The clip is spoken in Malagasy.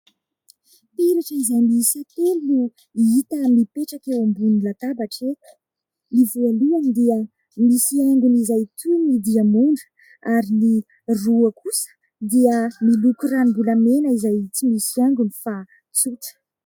Peratra izay miisa telo no hita mipetraka eo ambonin'ny latabatra eto ny voalohany dia misy haingon' izay toy ny diamonda ary ny roa kosa dia miloko ranombolamena izay tsy misy haingony fa tsotra.